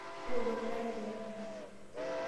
Tooku enkare pee kincho.